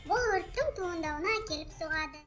бұл өрттің туындауына әкеліп соғады